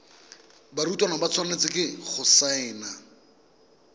barutwana ba tshwanetse go saena